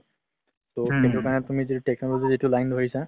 টো সেইটো কাৰণে তুমি যিহেতু technology যিটো line ধৰিছা ,